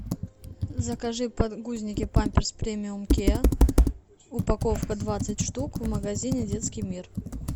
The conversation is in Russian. закажи подгузники памперс премиум кеа упаковка двадцать штук в магазине детский мир